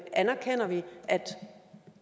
anerkender at